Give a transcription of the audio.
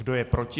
Kdo je proti?